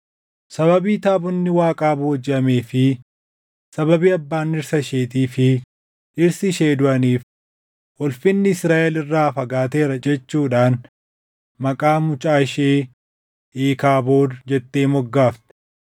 Sababii taabonni Waaqaa boojiʼamee fi sababii abbaan dhirsa isheetii fi dhirsi ishee duʼaniif, “Ulfinni Israaʼel irraa fagaateera” jechuudhaan maqaa mucaa ishee Iikaabood jettee moggaafte.